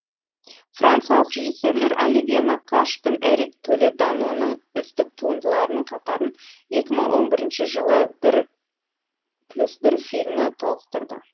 франциялық режиссерлер оливье накаш пен эрик толеданоның үздік туындыларының қатарын екі мың он бірінші жылы бір плюс бір фильмі толықтырды